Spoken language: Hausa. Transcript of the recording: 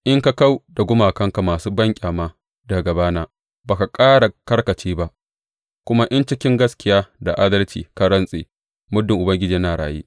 In ka kau da gumakanka masu banƙyama daga gabana ba ka ƙara karkace ba, kuma in cikin gaskiya da adalci ka rantse, Muddin Ubangiji yana raye,’